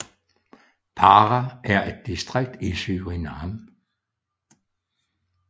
Para er et distrikt i Surinam